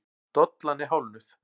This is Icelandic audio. Dollan er hálfnuð.